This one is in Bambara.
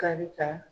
Kari ka